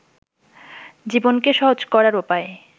জীবনকে সহজ করার উপায়